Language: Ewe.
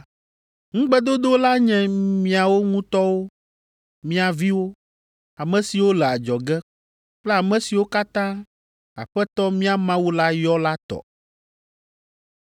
Ŋugbedodo la nye miawo ŋutɔwo, mia viwo, ame siwo le adzɔge kple ame siwo katã Aƒetɔ mía Mawu la yɔ la tɔ.”